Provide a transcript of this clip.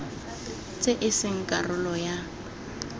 tse e seng karolo ya